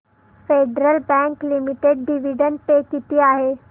federal bank limited dividend pay किती आहे